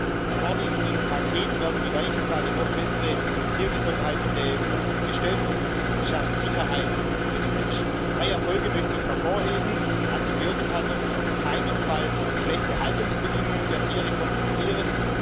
Mit dem nun vorliegenden Paket werden die Weichen für eine noch bessere Tiergesundheit in der EU gestellt, und es schafft Sicherheit für die Menschen. Drei Erfolge möchte ich hervorheben Antibiotika dürfen auf keinen Fall schlechte Haltungsbedingungen der Tiere kompensieren.